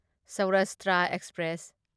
Saurashtra express